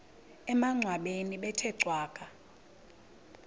emangcwabeni bethe cwaka